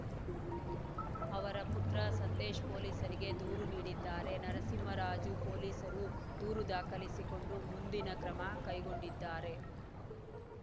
ಅವರ ಪುತ್ರ ಸಂದೇಶ್‌ ಪೊಲೀಸರಿಗೆ ದೂರು ನೀಡಿದ್ದಾರೆ ನರಸಿಂಹರಾಜು ಪೊಲೀಸರು ದೂರು ದಾಖಲಿಸಿಕೊಂಡು ಮುಂದಿನ ಕ್ರಮ ಕೈಕೊಂಡಿದ್ದಾರೆ